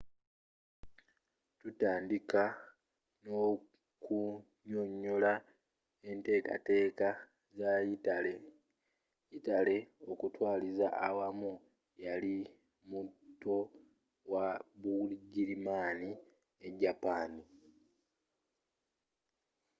tutandike n’okunyonyola enteekateeka za yitale. yitale okutwaliza awamu yali muto wa bugirimani ne japaani.